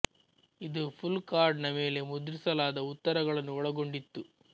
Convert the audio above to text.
ಇದು pull card ನ ಮೇಲೆ ಮುದ್ರಿಸಲಾದ ಉತ್ತರಗಳನ್ನು ಒಳಗೊಂಡಿತ್ತು